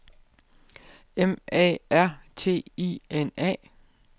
M A R T I N A